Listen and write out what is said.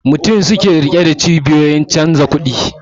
Mutum mutum suke rike da cibiyoyin ofishin canja kudi